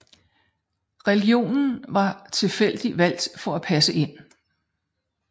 Religionen var tilfældigt valgt for at passe ind